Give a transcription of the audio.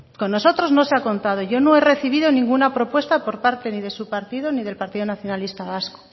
con nosotros no se ha contado yo no he recibido ninguna propuesta por parte ni de su partido ni del partido nacionalista vasco